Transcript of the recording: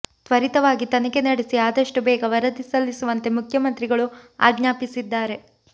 ತ್ವರಿತವಾಗಿ ತನಿಖೆ ನಡೆಸಿ ಆದಷ್ಟೂ ಬೇಗ ವರದಿ ಸಲ್ಲಿಸುವಂತೆ ಮುಖ್ಯಮಂತ್ರಿಗಳು ಆಜ್ಞಾಪಿಸಿದ್ದಾರೆ